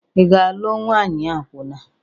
Ị ga-alụ nwanyị akwụna?